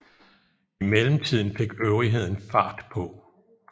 I mellemtiden fik øvrigheden fart på